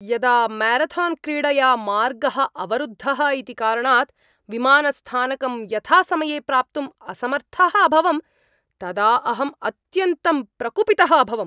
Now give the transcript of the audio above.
यदा म्यारथान्क्रीडया मार्गः अवरुद्धः इति कारणात् विमानस्थानकं यथासमये प्राप्तुम् असमर्थः अभवं तदा अहम् अत्यन्तं प्रकुपितः अभवम्।